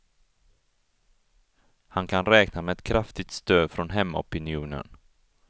Han kan räkna med ett kraftigt stöd från hemmaopinionen.